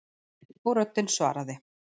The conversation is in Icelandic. Og röddin svaraði